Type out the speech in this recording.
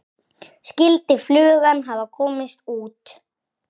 Skyldi flugan hafa komist út?